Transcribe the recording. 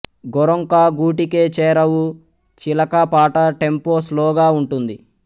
గోరొంక గూటికే చేరావు చిలకా పాట టెంపో స్లోగా వుంటుంది